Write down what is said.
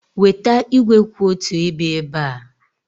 Weta igwe kwụ otu ebe ebe a.